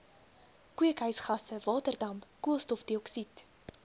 kweekhuisgasse waterdamp koolstofdioksied